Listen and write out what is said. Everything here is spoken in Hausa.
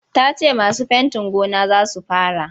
Ta ce masu fentin gone za su fara.